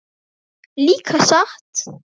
Líka satt?